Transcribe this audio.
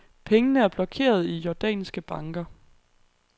Pengene er blokeret i jordanske banker.